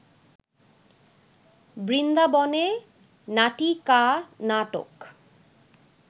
বৃন্দাবনে নাটিকানাটক